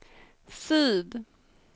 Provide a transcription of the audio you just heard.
syd